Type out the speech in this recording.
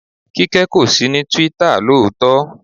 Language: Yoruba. Kíkẹ́ kò sí ní Twitter lóòótọ́.